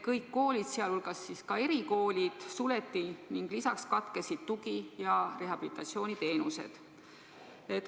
Kõik koolid, sh erikoolid, suleti ning lisaks katkesid tugi- ja rehabilitatsiooniteenused.